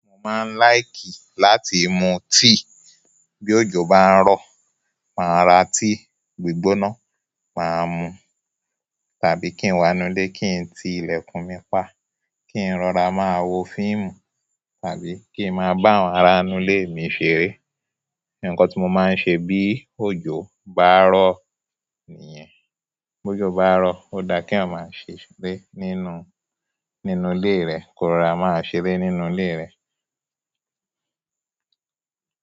Mo máa ń láìkì láti mu tea. Bí òjò bá ń rọ̀, màá ra tea gbígbóná, màá mu tàbí kí n wá inú ilé, kí n ti ilẹ̀kùn mi pa, kí n rọra máa wo fíìmù tàbí kí i máa bá àwọn ará inú ilé mi ṣeré. Ǹkan tí mo máa ń ṣe bí òjò bá ń rọ̀ nìyẹn. Bí òjò bá ń rọ̀, ó dá kí ọmọ á ṣeré nínú, nínú ilé rẹ̀ kò ra máa ṣeré nínú ilé rẹ̀.